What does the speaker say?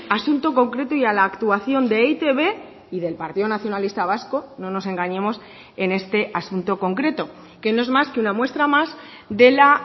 asunto concreto y a la actuación de e i te be y del partido nacionalista vasco no nos engañemos en este asunto concreto que no es más que una muestra más de la